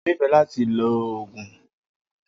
O nifẹ lati ló oogun.